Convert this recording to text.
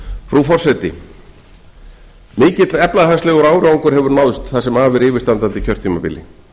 frú forseti mikill efnahagslegur árangur hefur náðst það sem af er yfirstandandi kjörtímabili